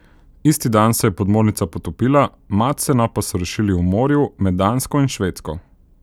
Isti dan se je podmornica potopila, Madsena pa so rešili v morju med Dansko in Švedsko.